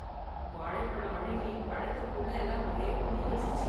வாழைப்பழம் அழுகி பழத்துக்கு உள்ளே எல்லாம் ஒரே புழு வச்சுருச்சு.